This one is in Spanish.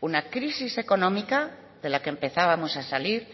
una crisis económica de la que empezábamos a salir